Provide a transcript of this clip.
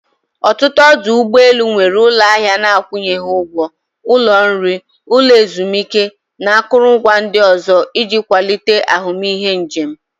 Ọtụtụ ọdụ ụgbọ elu nwere ụlọ ahịa na-akwụghị ụgwọ, ụlọ nri, ụlọ ezumike na akụrụngwa ndị ọzọ iji kwalite ahụmịhe njem.